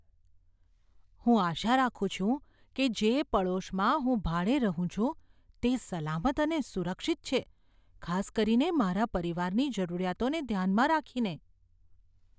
હું આશા રાખું છું કે જે પડોશમાં હું ભાડે રહું છું તે સલામત અને સુરક્ષિત છે, ખાસ કરીને મારા પરિવારની જરૂરિયાતોને ધ્યાનમાં રાખીને.